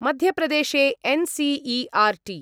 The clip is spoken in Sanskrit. मध्यप्रदेशे एन् सी ईआर् टी